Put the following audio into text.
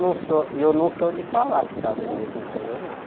Não sou eu não sou de falar que está bonito não, eu não.